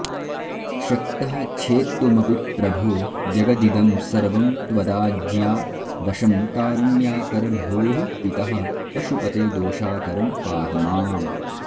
शक्तः छेत्तुमपि प्रभो जगदिदं सर्वं त्वदाज्ञावशं कारुण्याकर भोः पितः पशुपते दोषाकरं पाहि माम्